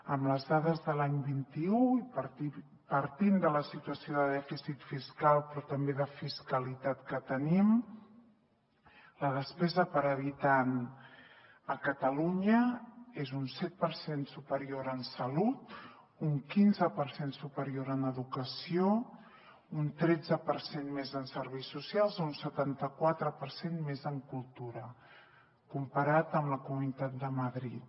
amb les dades de l’any vint un i partint de la situació de dèficit fiscal però també de fiscalitat que tenim la despesa per habitant a catalunya és un set per cent superior en salut un quinze per cent superior en educació un tretze per cent més en serveis socials un setanta quatre per cent més en cultura comparat amb la comunitat de madrid